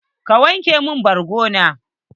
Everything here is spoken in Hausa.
ka wanke mun borgo na?